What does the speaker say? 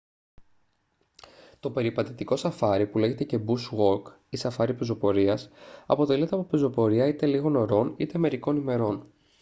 το περιπατητικό σαφάρι που λέγεται και «bush walk ή «σαφάρι πεζοπορίας» αποτελείται από πεζοπορία είτε λίγων ωρών είτε μερικών ημερών